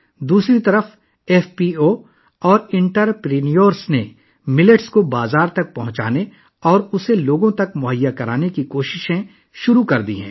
دوسری طرف، F P Os اور تاجروں نے باجرے کی مارکیٹنگ اور انہیں لوگوں تک پہنچانے کی کوششیں شروع کر دی ہیں